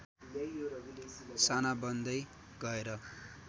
साना बन्दै गएर